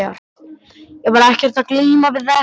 Ég var ekkert að glíma við þetta.